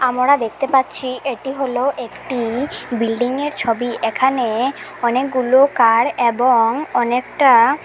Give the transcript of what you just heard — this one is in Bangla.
আমরা দেখতে পাচ্ছি এটি হলো একটি বিল্ডিংয়ের ছবি এখানে অনেকগুলো কার এবং অনেকটা--